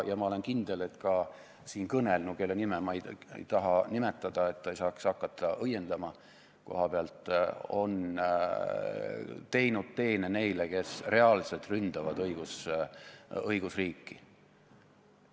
Ja ma olen kindel, et ka siin kõnelnu, kelle nime ma ei taha nimetada, et ta ei saaks hakata kohapealt õiendama, on teinud teene neile, kes reaalselt ründavad õigusriiki.